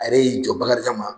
Ale y'i jɔ Bakarijan ma